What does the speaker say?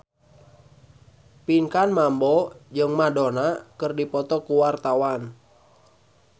Pinkan Mambo jeung Madonna keur dipoto ku wartawan